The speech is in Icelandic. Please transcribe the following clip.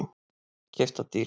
Keypt það dýrt.